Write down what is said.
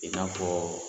I n'a fɔ